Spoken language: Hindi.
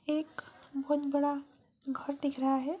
एक बहुत बड़ा घर दिख रहा है।